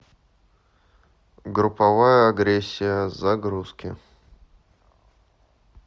групповая агрессия загрузки